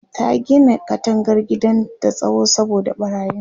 ta Gina katangar gidan da tsawo saboda ɓarayin